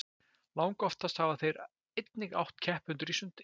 Langoftast hafa þeir einnig átt keppendur í sundi.